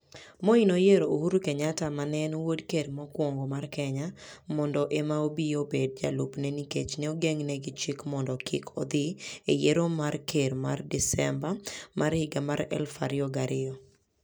Moi noyiero Uhuru Kenyatta, ma ne en wuod Ker mokwongo mar Kenya, mondo ema obi obed jalupne nikech ne ogeng'ne gi chik mondo kik odhi e yiero mar ker ma Desemba 2002.